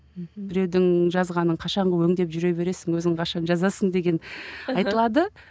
мхм біреудің жазғанын қашанғы өңдеп жүре бересің өзің қашан жазасың деген айтылады